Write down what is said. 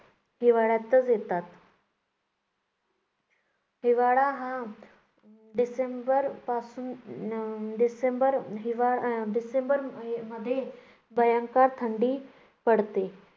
हिवाळ्यातच येतात. हिवाळा हा डिसेंबरपासून अं डिसेंबर हिवाळा अं डिसेंबरमध्ये भयंकर थंडी पडते.